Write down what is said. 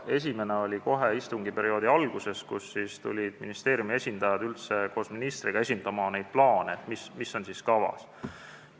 Esimene kord oli kohe istungiperioodi alguses, kui ministeeriumi esindajad tulid koos ministriga tutvustama neid plaane, mis olid kavas.